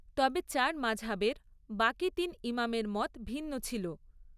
তবে চার মাঝহাবের বাকি তিন ইমামের মত ভিন্ন ছিল।